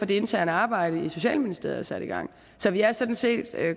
det interne arbejde i socialministeriet er sat i gang så vi er sådan set